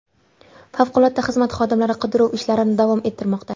Favqulodda xizmat xodimlari qidiruv ishlarini davom ettirmoqda.